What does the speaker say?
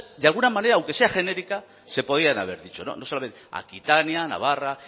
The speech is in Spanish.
de alguna manera aunque sea genérica se podían haber dicho aquitania navarra